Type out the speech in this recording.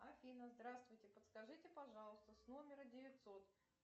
афина здравствуйте подскажите пожалуйста с номера девятьсот